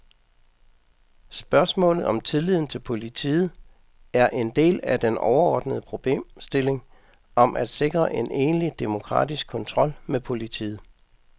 Spørgsmålet om tilliden til politiet er en del af den overordnede problemstilling om at sikre en egentlig demokratisk kontrol med politiet.